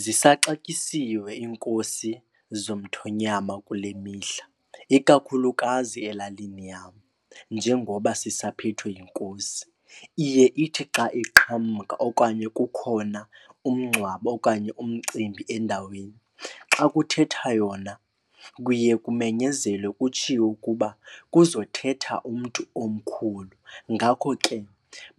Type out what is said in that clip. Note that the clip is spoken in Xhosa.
Zisaxatyisiwe iinkosi zomthonyama kule mihla ikakhulukazi elalini yam njengoba sisaphethwe yiNkosi. Iye ithi xa iqhamka okanye kukhona umngcwabo okanye umcimbi endaweni. Xa kuthetha yona kuye kumenyezelwe kutshiwo ukuba kuzothetha umntu omkhulu ngako ke